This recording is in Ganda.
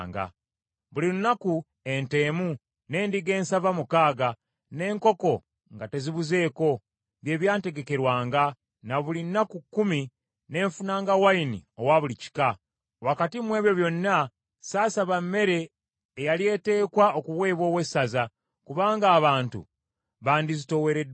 Buli lunaku ente emu, n’endiga ensava mukaaga n’enkoko nga tezibuzeeko bye byantegekerwanga, ne buli nnaku kkumi ne nfunanga wayini owa buli kika. Wakati mu ebyo byonna saasaba mmere eyali eteekwa okuweebwa owessaza, kubanga abantu baandizitoowereddwa nnyo.